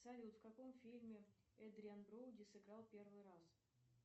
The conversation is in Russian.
салют в каком фильме эдриан броуди сыграл в первый раз